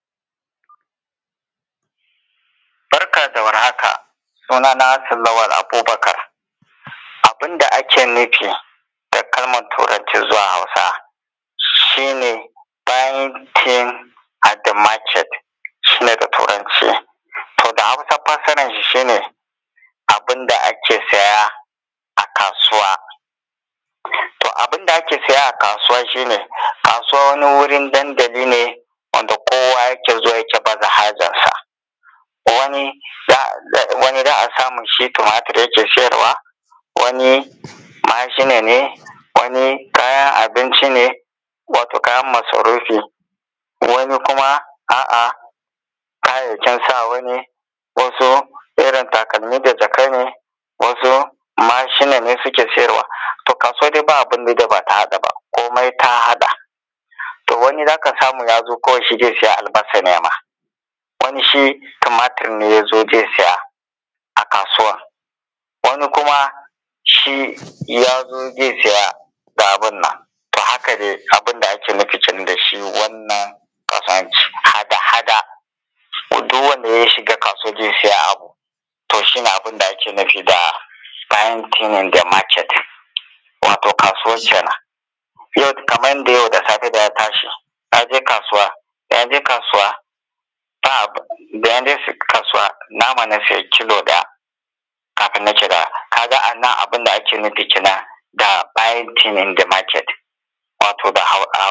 Barka da war haka, suna na hassan Lawal Abubakar. Abun da ake nufi da kalman turanci zuwa Hausa shi ne (bankin of ze maket) shi ne da Turanci, to da Hausa fassaran shi, shi ne abin da ake siya a kasuwa. To abinda ake siya a kasuwa shi ne, kasuwa wani wurin dandali ne wanda kowa yake zuwa yake baje hajjansa, wani za a samu shi tumatir yake siyarwa, wani mashina ne, wani kayan abinci ne, wato kayan masarufi, wani kuma a’a kayayyakin sawa ne, wasu takalmi da jaka ne, wasu mashina ne su ke siyarwa. To kasuwa dai babu abinda bata haɗa ba, komai ta haɗa. To wani zaka samu ya zo kawai shi zai sai albasa ne ma, wani shi tumatir ne ya zo zai siya a kasuwa, wani kuma shi ya zo zai siya da abun nan. To haka dai abun da ake nufi da shi wannan kasuwanci, hada hada duk wanda ya shiga kasuwa zai siya abu, yo shi ne abinda ake nufi da (bankin of zi maket) wato kasuwa kenen. Kamar yanda yau da safe dana tashi Naje kasuwa ba abun da, da naje kasuwa nama na siya kilo da, kafin kaga anan abunda kenen da (bankin of zi maket)wato da Hausa.